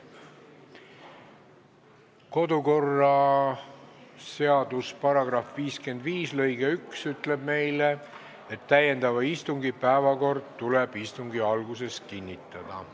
Kodukorraseaduse § 55 lõige 1 ütleb meile, et täiendava istungi päevakord tuleb istungi alguses kinnitada.